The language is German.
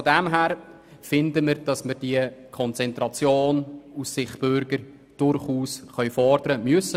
Insofern finden wir, dass wir diese Konzentration aus Sicht der Bürger durchaus fordern können und müssen.